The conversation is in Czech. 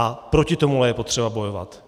A proti tomu je potřeba bojovat.